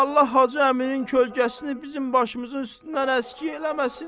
Allah hacı əminin kölgəsini bizim başımızın üstündən əskik eləməsin.